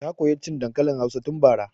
Ta koya cin dankalin hausa tun bara